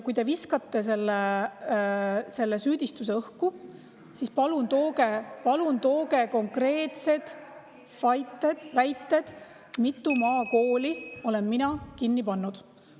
Kui te viskate selle süüdistuse õhku, siis palun tooge konkreetsed väited , mitu maakooli olen mina kinni pannud.